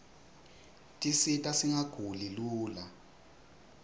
tisita singaguli lula